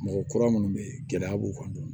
Mɔgɔ kura minnu bɛ yen gɛlɛya b'u kan